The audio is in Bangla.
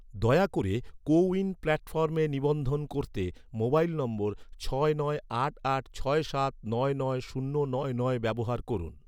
দয়া করে, কো উইন প্ল্যাটফর্মে নিবন্ধন করতে, মোবাইল নম্বর, ছয় নয় আট আট ছয় সাত নয় নয় শূন্য নয় নয় ব্যবহার করুন